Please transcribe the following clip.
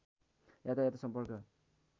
यातायात सम्पर्क